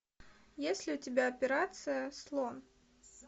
есть ли у тебя операция слон